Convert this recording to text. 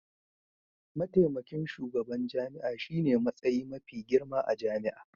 Mataimakin shugaban jami'a shine matsayi mafi girma a jami'a.